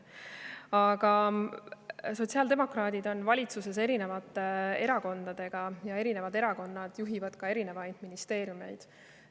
Aga sotsiaaldemokraadid on valitsuses koos erinevate erakondadega ja erinevad erakonnad juhivad erinevaid ministeeriumeid.